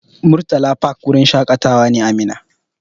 Murtala fak wurin shaƙatawa ne a Minna.